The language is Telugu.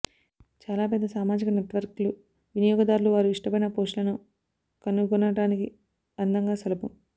చాలా పెద్ద సామాజిక నెట్వర్క్లు వినియోగదారులు వారు ఇష్టపడిన పోస్టులను కనుగొనటానికి అందంగా సులభం